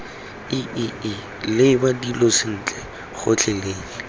iii leba dilo sentle gotlhelele